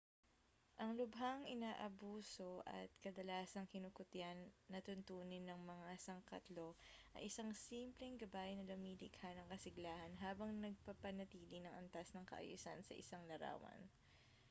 ang lubhang-inaabuso at kadalasang-kinukutya na tuntunin ng mga sangkatlo ay isang simpleng gabay na lumilikha ng kasiglahan habang nagpapanatili ng antas ng kaayusan sa isang larawan